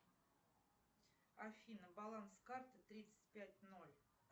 афина баланс карты тридцать пять ноль